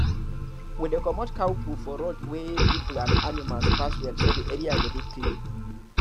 we dey comot cow poo for road weh people and animal pass well so the area go dey clean